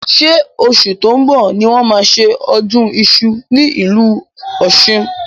Ṣé oṣù tó ń bọ̀ ni wọ́n máa ṣe ọdún iṣu ní ìlú Ọ̀ṣun?